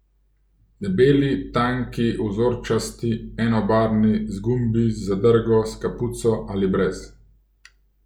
Debeli, tanki, vzorčasti, enobarvni, z gumbi, z zadrgo, s kapuco ali brez ...